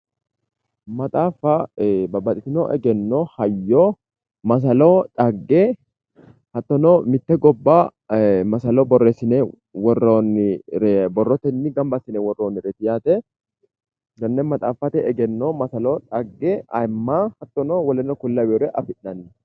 Maxaaffa babbaxxitino egenno hayyo masalo dhagge hattono mitte gobba masalo borreessine worroonnire borrotenni gamba assine worroonnireeti yaate tenne maxaaffate egenno masalo dhagge ayiimma hattono wole kuri laweyoore afi'nanni